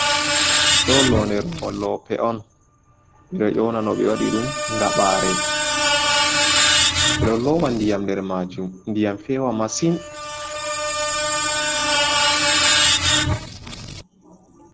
Do lode lope on bedo ƴona no be wadi dum gaɓare ,bedo lowa ndiyam der majum ndiyam fewa masin.